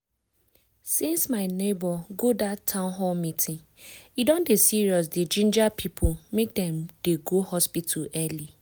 since my neighbor go dat town hall meeting e don dey serious dey ginger people make dem dey go hospital early.